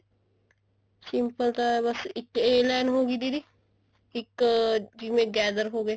simple ਤਾਂ ਬੱਸ ਇੱਕ a line ਹੋਗਈ ਦੀਦੀ ਇੱਕ ਜਿਵੇਂ gather ਹੋ ਗਏ